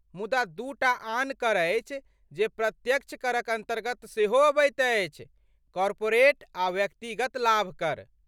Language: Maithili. मुदा दू टा आन कर अछि जे प्रत्यक्ष करक अन्तर्गत सेहो अबैत अछि, कार्पोरेट आ व्यक्तिगत लाभ कर।